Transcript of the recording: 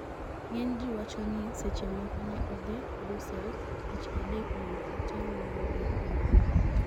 ng'eny ji wacho ni seche moko ne odhi Brussels tich adek mondo otem wuoyo gi EU